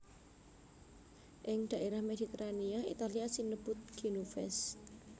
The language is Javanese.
Ing dhaérah Mediterania Italia sinebut genovese